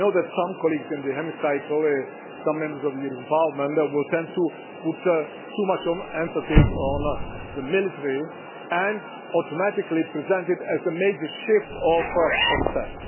I know that some colleagues in the Hemicycle, some Members of the European Parliament, will tend to put too much emphasis on the military and automatically present it as a major shift offset.